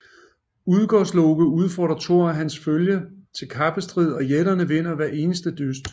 Udgårdsloke udfordrer Thor og hans følge til kappestrid og jætterne vinder hver eneste dyst